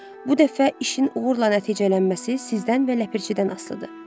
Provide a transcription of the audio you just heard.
Bu dəfə işin uğurla nəticələnməsi sizdən və Ləpirçidən asılıdır.